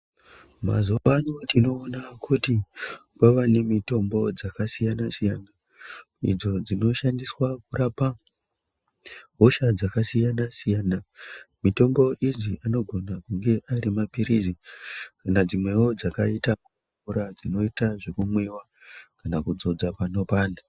Mazuvano tinoona kuti kwava nemitombo yakasiyana siyana idzo dzinoshandiswa kurapa hosha dzakasiyana-siyana. Mitombo idzi anogone kunge ari maphirizi kana dzimwewo dzakaite mvura dzinoite zvekumwiwa kana kudzodza panopanda.